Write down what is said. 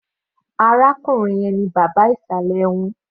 Arákùnrin yẹn ni bàbá ìsàlẹ̀ wọn.